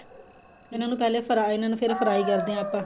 ਇਹਨਾ ਨੂੰ ਪਹਿਲਾਂ fry ਇਹਨਾ ਨੂੰ ਫਿਰ fry ਕਰਦੇ ਆ ਆਪਾਂ